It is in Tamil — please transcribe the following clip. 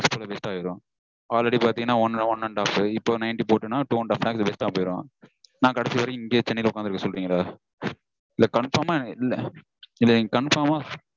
Waste ஆயிரும். Already பாத்தீங்கனா one and half இப்போ ninety போட்டேன்னா two and half lakhs waste -ஆ போயிரும். நா கடைசி வரைக்கும் இங்கேயே சென்னைல உக்காந்திருக்க சொல்றீங்களா? இல்ல நீங்க confirm -ஆ இல்ல நீங்க confirm -ஆ